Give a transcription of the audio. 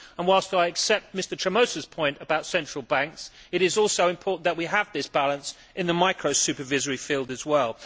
Whilst I accept Mr Tremosa's point about central banks, it is also important that we have this balance in the micro supervisory field as well.